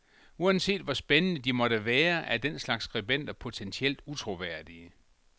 Uanset hvor spændende, de måtte være, er den slags skribenter potentielt utroværdige.